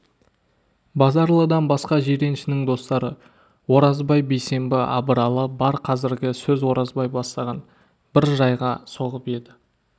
базаралыдан басқа жиреншенің достары оразбай бейсенбі абыралы бар қазіргі сөз оразбай бастаған бір жайға соғып еді